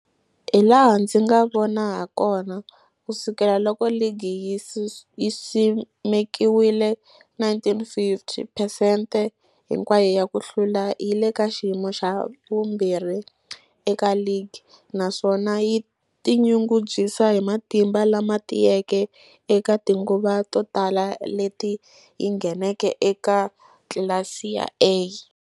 Hilaha ndzi nga vona hakona, ku sukela loko ligi yi simekiwile, 1950, phesente hinkwayo ya ku hlula yi le ka xiyimo xa vumbirhi eka ligi, naswona yi tinyungubyisa hi matimba lama tiyeke eka tinguva to tala leti yi ngheneke eka tlilasi ya A.